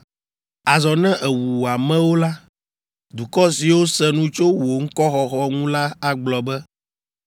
Azɔ ne èwu wò amewo la, dukɔ siwo se nu tso wò ŋkɔxɔxɔ ŋu la agblɔ be,